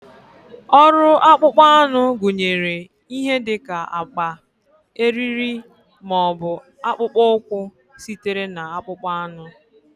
Ọrụ akpụkpọ anụ gụnyere ihe dị ka akpa, eriri, ma ọ bụ akpụkpọ ụkwụ sitere na akpụkpọ anụ.